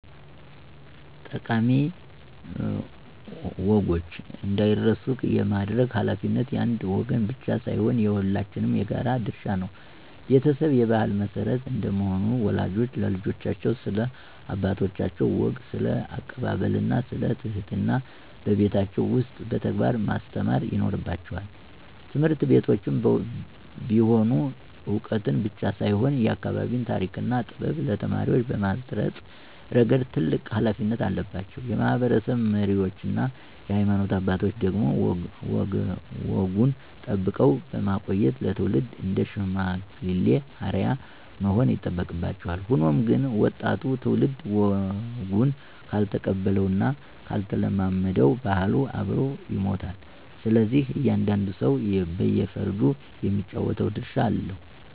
ጠቃሚ ወጎች እንዳይረሱ የማድረግ ኃላፊነት የአንድ ወገን ብቻ ሳይሆን የሁላችንም የጋራ ድርሻ ነው። ቤተሰብ የባህል መሰረት እንደመሆኑ፣ ወላጆች ለልጆቻቸው ስለ አባቶቻቸው ወግ፣ ስለ አቀባበልና ስለ ትህትና በቤታቸው ውስጥ በተግባር ማስተማር ይኖርባቸዋል። ትምህርት ቤቶችም ቢሆኑ ዕውቀትን ብቻ ሳይሆን፣ የአካባቢን ታሪክና ጥበብ ለተማሪዎች በማስረጽ ረገድ ትልቅ ኃላፊነት አለባቸው። የማህበረሰብ መሪዎችና የሃይማኖት አባቶች ደግሞ ወጉን ጠብቀው በማቆየት ለትውልድ እንደ ሽማግሌ አርአያ መሆን ይጠበቅባቸዋል። ሆኖም ግን፣ ወጣቱ ትውልድ ወጉን ካልተቀበለውና ካልተለማመደው ባህሉ አብሮ ይሞታል። ስለዚህ እያንዳንዱ ሰው በየፈርጁ የሚጫወተው ድርሻ አለው።